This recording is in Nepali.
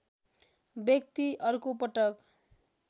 व्यक्ति अर्को पटक